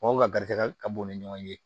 Mɔgɔw ka garidikɛ ka bon u ni ɲɔgɔn cɛ